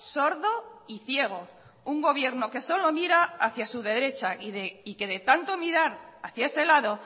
sordo y ciego un gobierno que solo mira hacía su derecha y que de tanto mirar hacía ese lado